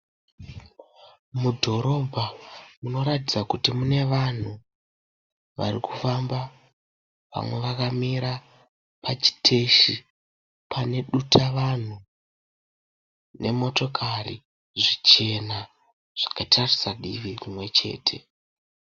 Mudhorobha munotaridza kuti mune vanhu vakawanda vari kufamba vamwe vakamira pachiteshi pane dhuta vanhu nemotikari zvichena zvakatarisa divi rimwe chete.